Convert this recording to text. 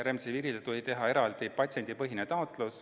Remdisivirile tuli teha eraldi patsiendipõhine taotlus.